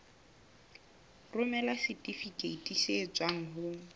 romela setifikeiti se tswang ho